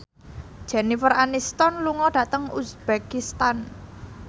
Jennifer Aniston lunga dhateng uzbekistan